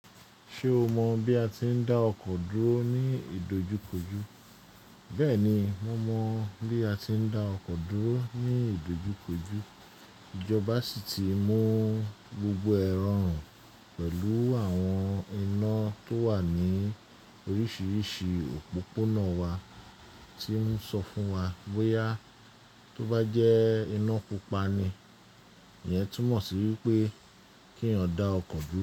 Ṣé o mọ bí a ti ń dá ọkọ̀ dúró ní ìdojúkojú? Bẹ́ẹ̀ni, mo mọ bí a ti ń dá ọkọ̀ dúró ní ìdojúkojú. Ijọba sì ti mú gbogbo ẹ rọrùn pẹ̀lú àwọn iná tó wà ní oríṣiríṣi òpópónà wa tí ń sọ fún wa bóyá tó bá jẹ́ iná pupa ni ìyẹn túmọ̀ sí wípé kí èèyàn dá ọkọ̀ dúró.